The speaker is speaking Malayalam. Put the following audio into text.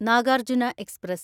നാഗാർജുന എക്സ്പ്രസ്